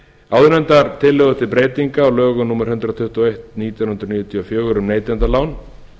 áðurgreindar tillögur til breytinga á lögum númer hundrað tuttugu og eitt nítján hundruð níutíu og fjögur um neytendalán